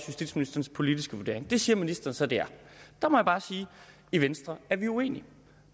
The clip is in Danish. justitsministerens politiske vurdering det siger ministeren så at det er der må jeg bare sige i venstre er vi uenige